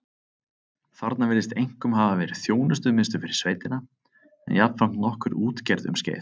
Þarna virðist einkum hafa verið þjónustumiðstöð fyrir sveitina en jafnframt nokkur útgerð um skeið.